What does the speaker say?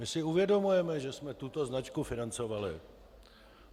My si uvědomujeme, že jsme tuto značku financovali.